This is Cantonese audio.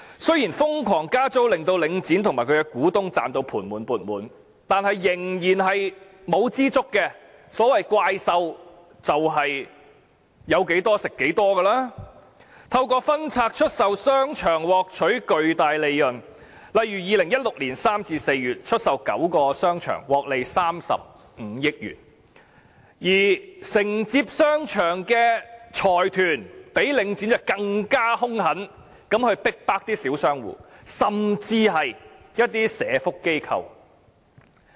雖然瘋狂加租令領展和其股東"賺到盤滿缽滿"，但他們仍不知足，所謂怪獸便是有多少吃多少，他們透過分拆出售商場獲取巨大利潤，例如2016年3月至4月出售9個商場，獲利35億元，而承接商場的財團較領展更兇狠地逼迫小商戶，甚至是社會福利機構。